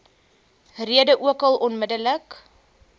rede ookal onmiddellik